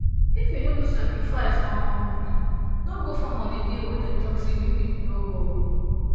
if you no do sacrifice um hmmm no go farm on the day wey dem talk say make people no go o